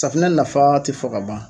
Safinɛ nafa tɛ fɔ ka ban.